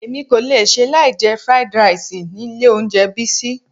Èmi kò lè ṣe láì jẹ fried rice ni ilé oúnjẹ Bisi.